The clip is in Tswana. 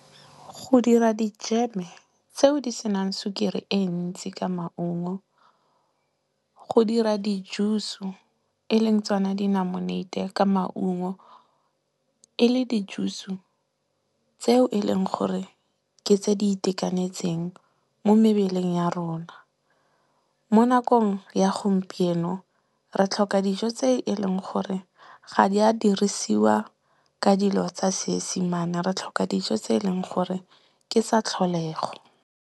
Go dira dijeme tseo di senang sukiri e ntsi ka maungo. Go dira di-juice-u e leng tsona dinamuneite ka maungo. E le di-juice-u tseo e leng gore ke tse di itekanetseng mo mebeleng ya rona. Mo nakong ya gompieno re tlhoka dijo tse e leng gore ga di a dirisiwa ka dilo tsa seesemane. Re tlhoka dijo tse e leng gore ke tsa tlholego.